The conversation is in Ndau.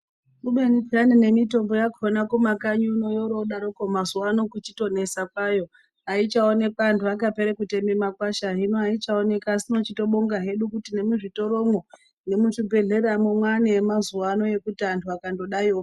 Kubeni nemitombo yakona kumakanyi unono vodaroko mazuva ano kunesa kwayo aichaonekwi mumakwasha asi tobonga kuti hino muzvitoromo nemuzvibhedhleramo mane yemazuva ano yekuti vantu vvakangodaiwo.